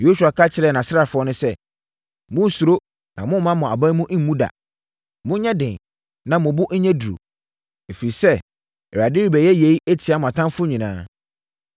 Yosua ka kyerɛɛ nʼasraafoɔ no sɛ, “Monnsuro na mommma mo abamu mmu da. Monyɛ den na mo bo nyɛ duru, ɛfiri sɛ, Awurade rebɛyɛ yei atia mo atamfoɔ nyinaa.”